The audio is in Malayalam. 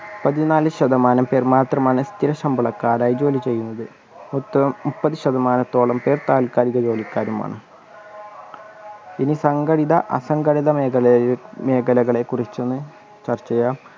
പതിനാല് ശതമാനം പേർ മാത്രമാണ് സ്ഥിര ശമ്പളക്കാരായി ജോലി ചെയ്യുന്നത് മുപ്പ മുപ്പത് ശതമാനത്തോളം പേർ താൽകാലിക ജോലിക്കാരുമാണ് ഇനി സംഘടിത അസംഘടിത മേഖലയെ മേഖലകളെക്കുറിച്ചൊന്ന് ചർച്ച ചെയ്യാം